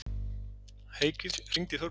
Heikir, hringdu í Þorbjörgu.